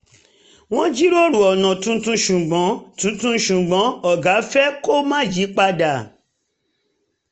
wọ́n jíròrò ọ̀nà tuntun ṣùgbọ́n um tuntun ṣùgbọ́n um ọ̀gá fẹ́ um kó má yí padà